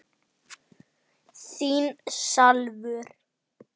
Í guðs friði.